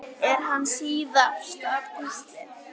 Er hann síðasta púslið?